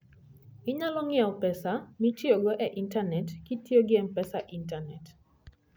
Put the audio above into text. Inyalo ng'iewo pesa mitiyogo e intanet kitiyo gi M-Pesa e intanet.